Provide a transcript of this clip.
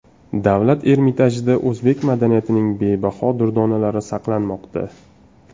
Davlat Ermitajida o‘zbek madaniyatining bebaho durdonalari saqlanmoqda.